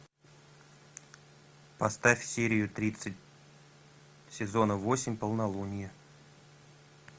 поставь серию тридцать сезона восемь полнолуние